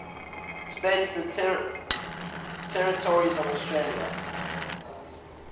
states and territories of australia